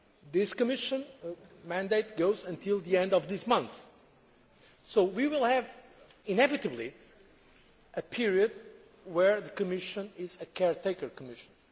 The Commission's mandate lasts until the end of this month, so we will inevitably have a period where the Commission is a caretaker' Commission.